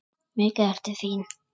Mikið ertu fín!